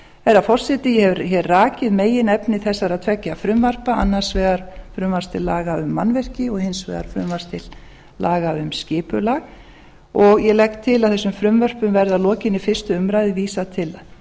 herra forseti ég hef hér rakið meginefni þessara tveggja frumvarpa annars vegar frumvarps til laga um mannvirki og hins vegar frumvarpi til laga um skipulag ég legg til að þessum frumvörpum verði að lokinni fyrstu umræðu vísað til